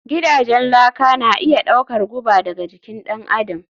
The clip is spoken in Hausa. Gidajen laka na iya ɗaukar guba daga jikin ɗan adam